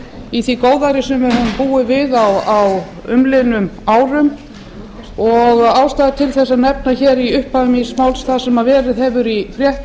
í því góðæri sem við höfum búið við á umliðnum árum ástæða er til að nefna hér í upphafi máls míns það sem verið hefur í fréttum